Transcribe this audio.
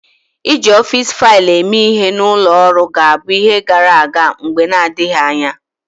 Iji ọfịs faịlụ eme ihe na ụlọ ọrụ ga-abụ ihe gara aga mgbe na-adịghị anya.